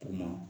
Ka na